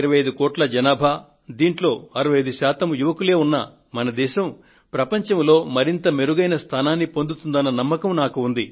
125 కోట్ల మంది జనాభా అందులో 65 శాతం యువతీయువకులే ఉన్న మన భారతదేశం ప్రపంచంలో మరింత మెరుగైన స్థానాన్ని పొందుతుందన్న నమ్మకం నాకు ఉంది